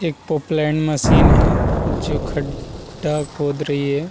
एक Poclain machine है जो खड्डा खोद रही हैं।